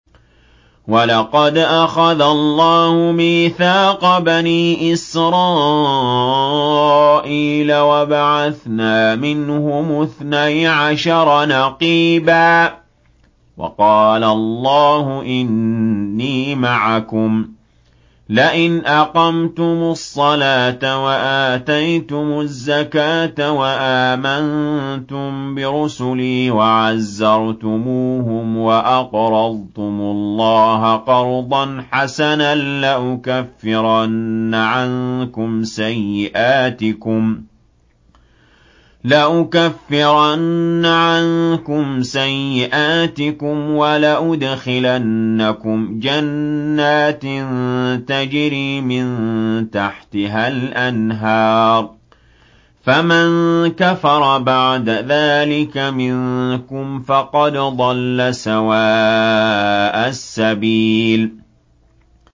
۞ وَلَقَدْ أَخَذَ اللَّهُ مِيثَاقَ بَنِي إِسْرَائِيلَ وَبَعَثْنَا مِنْهُمُ اثْنَيْ عَشَرَ نَقِيبًا ۖ وَقَالَ اللَّهُ إِنِّي مَعَكُمْ ۖ لَئِنْ أَقَمْتُمُ الصَّلَاةَ وَآتَيْتُمُ الزَّكَاةَ وَآمَنتُم بِرُسُلِي وَعَزَّرْتُمُوهُمْ وَأَقْرَضْتُمُ اللَّهَ قَرْضًا حَسَنًا لَّأُكَفِّرَنَّ عَنكُمْ سَيِّئَاتِكُمْ وَلَأُدْخِلَنَّكُمْ جَنَّاتٍ تَجْرِي مِن تَحْتِهَا الْأَنْهَارُ ۚ فَمَن كَفَرَ بَعْدَ ذَٰلِكَ مِنكُمْ فَقَدْ ضَلَّ سَوَاءَ السَّبِيلِ